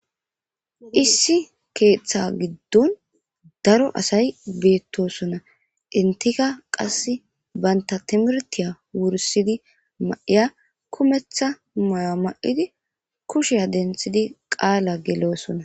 Issi keeththa giddon daro asay beettosona intika qas baynta timirtiya wursidi ma7iya kumetha muya ma7idi kushea denthidi qaala geloosona.